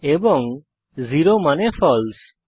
এবং জেরো মানে ফালসে